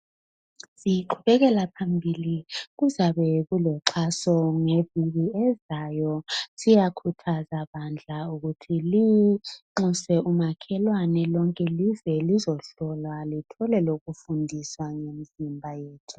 Siqhubekela phambili kuzabe kuloxhaso ngeviki ezayo siyakhuthaza bandla ukuthi linxuse umakhelwane lonke lize lizohlolwa lithole lokufundiswa ngemzimba yethu.